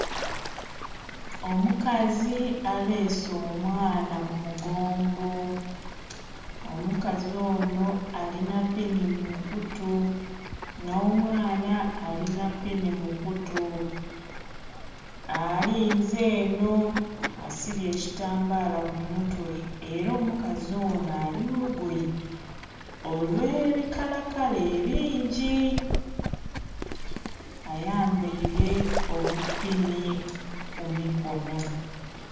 Omukazi abeese omwaana kumugongo, omukazi onho alinha pini mukutu nh'omwaana alinha pini mukutu alinzenho asibye ekitambala kumutwe era omukazi onho alimulugoye olwebikalakala ebingi, ayambeire obupini kumukono.